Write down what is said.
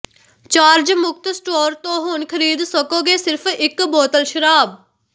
charge ਮੁਕਤ store ਤੋਂ ਹੁਣ ਖਰੀਦ ਸਕੋਗੇ ਸਿਰਫ ਇਕ ਬੋਤਲ ਸ਼ਰਾਬ